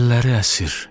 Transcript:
Əlləri əsir.